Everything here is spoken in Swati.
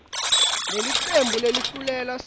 lelicebo leluhlelo lisu